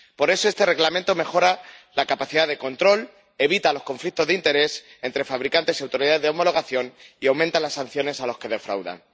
Por eso, este Reglamento mejora la capacidad de control, evita los conflictos de interés entre fabricantes y autoridades de homologación y aumenta las sanciones a los que defraudan.